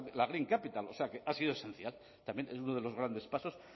la green capital o sea que ha sido esencial también es uno de los grandes pasos